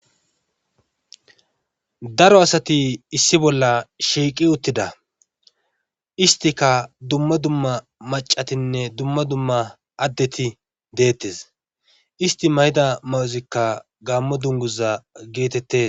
daro asati issi bolla shiiqi uttida istika dumma dumma macatinne dumma dumma addeti deettes isti mayida mawozikka gammo dunguza geetettes